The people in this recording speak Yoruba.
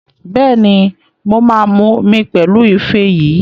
Bẹ́ẹ̀ni, mo mu omi pẹ̀lú ife yìí